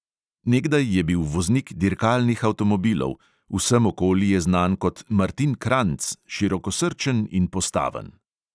Nekdaj je bil voznik dirkalnih avtomobilov, vsem okoli je znan kot martin kranjc, širokosrčen in postaven.